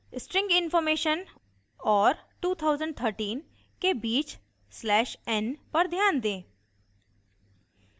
string information और 2013 के बीच slash n पर ध्यान दें